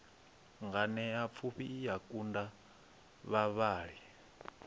nganeapfhufhi i a kunga vhavhali